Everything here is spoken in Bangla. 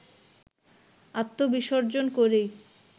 আত্মবিসর্জন করেই